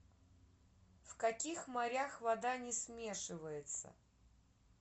в каких морях вода не смешивается